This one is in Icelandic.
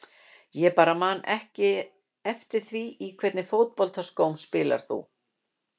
Ég bara man ekki eftir því Í hvernig fótboltaskóm spilar þú?